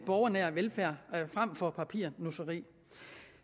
borgernær velfærd frem for papirnusseri